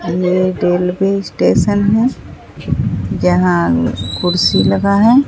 ये railway station हैं जहां कुर्सी लगा है।